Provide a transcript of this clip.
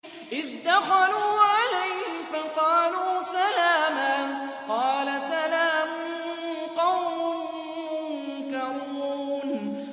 إِذْ دَخَلُوا عَلَيْهِ فَقَالُوا سَلَامًا ۖ قَالَ سَلَامٌ قَوْمٌ مُّنكَرُونَ